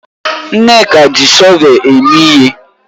Nneka ji shọvel eme ihe.